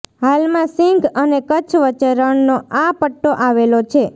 હાલમાં સિંધ અને કચ્છ વચ્ચે રણનો આ પટ્ટો આવેલો છે